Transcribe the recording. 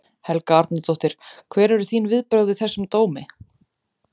Helga Arnardóttir: Hver eru þín viðbrögð við þessum dómi?